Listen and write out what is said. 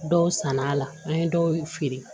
Dɔw sann'a la an ye dɔw feere